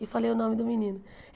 E falei o nome do menino.